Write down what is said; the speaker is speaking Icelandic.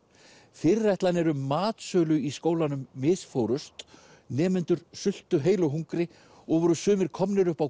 fyrirætlanir um matsölu í skólanum misfórust nemendur sultu heilu hungri og voru sumir komnir upp á